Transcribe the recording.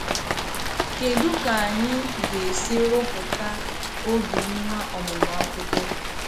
Kédú ka anyị ga-esi rụpụta obi nwa ọmụmụ akwụkwọ?